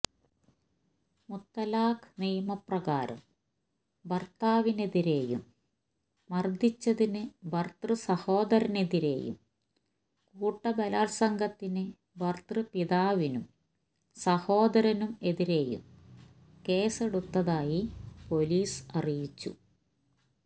മുത്തലാഖ് നിയമപ്രകാരം ഭർത്താവിനെതിരെയും മർദിച്ചതിന് ഭർതൃസഹോദരനെതിരെയും കൂട്ടബലാത്സംഗത്തിന് ഭർതൃപിതാവിനും സഹോദരനും എതിരെയും കേസെടുത്തതായി പൊലീസ് അറിയിച്ചു